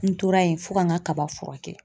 N tora yen fo ka n ka kaba furakɛ.